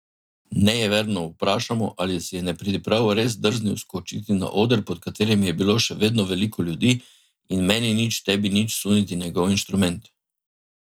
Nejeverno vprašamo, ali si je nepridiprav res drznil skočiti na oder, pod katerim je bilo še vedno veliko ljudi, in meni nič, tebi nič suniti njegov inštrument.